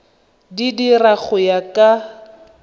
di dira go ya ka